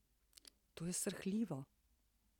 To je srhljivo.